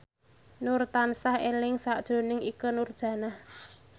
Nur tansah eling sakjroning Ikke Nurjanah